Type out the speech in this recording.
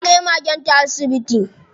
Ta kai magenta asibiti.